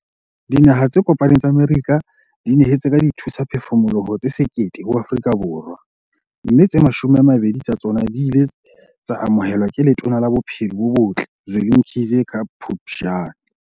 Dinaha tse Kopaneng tsa Amerika di nyehetse ka dithusaphefumoloho tse 1 000 ho Afrika Borwa, mme tse 20 tsa tsona di ile tsa amohelwa ke Letona la Bophelo bo Botle Zweli Mkhize ka Phuptjane.